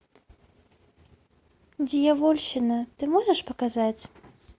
дьявольщина ты можешь показать